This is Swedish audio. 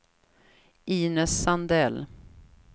Inez Sandell